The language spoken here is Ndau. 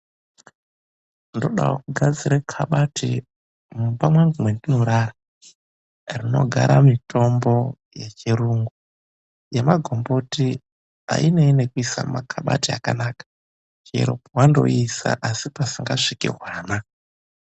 Ndodawo kugadzira kabati mumba mwangu mwendinorara rinogara mitombo yechirungu. Yemagomboti ainei nekuisa mumakabati akanaka, chero pewandoiisa asi pasingasviki hwana.